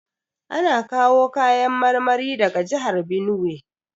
Ana kawo kayan marmari daga jihar Binuwai.